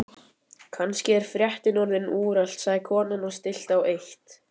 Kannski er fréttin orðin úrelt sagði konan og stillti á eitt.